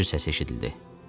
Zəncir səsi eşidildi.